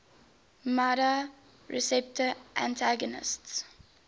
nmda receptor antagonists